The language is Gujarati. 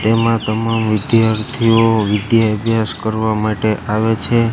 એમા તમામ વિધાર્થીઓ વિધ્યા અભ્યાસ કરવા માટે આવે છે.